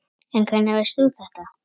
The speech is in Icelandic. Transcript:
En hvernig veist þú þetta?